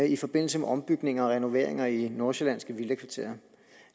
i forbindelse med ombygning og renoveringer i de nordsjællandske villakvarterer